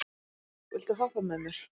Borg, viltu hoppa með mér?